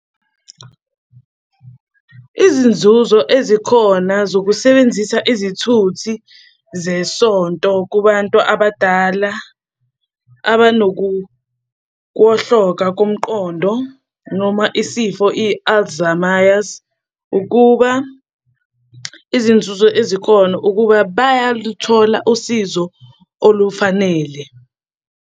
Izinzuzo ezikhona zokusebenzisa izithuthi zesonto kubantu abadala, abanokuwohloka komqondo noma isifo i-Alzheimers, ukuba izinzuzo ezikhona ukuba bayaluthola usizo olufanele.